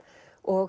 og